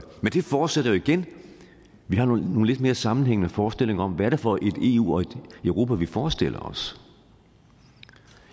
forudsætter jo igen at vi har nogle lidt mere sammenhængende forestillinger om hvad det er for et eu og et europa vi forestiller os